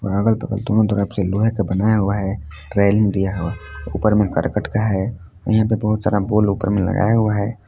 अगल बगल दोनो तरफ से लोहे के बनाया हुआ हैं रेलिंग दिया हुआ ऊपर में करकट का है यहां पे बहुत सारा बोल में लगाया हुआ हैं।